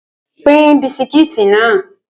Pín bisikí náà!